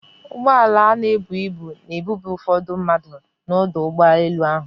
Ụgbọala na-ebu ibu na-ebube ụfọdụ mmadụ n'ọdụ ụgbọ elu ahụ.